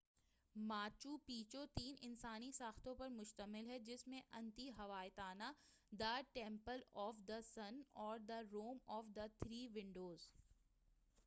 Machu Picchu تین انسانی ساختوں پر مُشتمل ہے جس میں Intihuatana the temple of the sun اور the room of the three Windows